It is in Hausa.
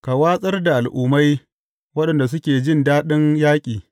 Ka watsar da al’ummai waɗanda suke jin daɗin yaƙi.